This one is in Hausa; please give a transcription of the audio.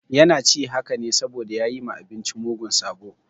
Yana ci haka ne saboda ya yi ma abinci mugun sabo.